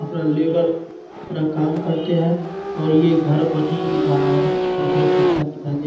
अपना लेबर अपना काम करते हैं और ये घर बन ही रहा है और बहुत अच्छा दिखाई दे --